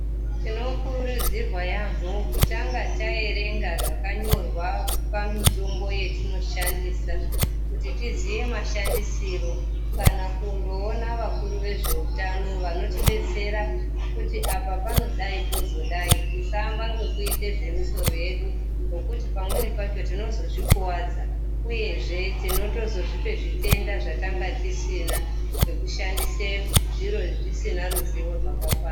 Tinokurudzirwa yaambo kutanga taerenga zvakanyorwa pamitombo yetinoshandisa kuti tizive mashandisiro kana kundoona vakuru vezveutano vanotibetsera kuti apa panodayi pozodai tisaamba ngokuite zvomusoro wedu ngokuti pamweni tinozozvikuwadza uye zvee tinozotozvipe zvitenda zvatanga tisina ngokushandise zviro zvatisina ruzivo rwakakwana.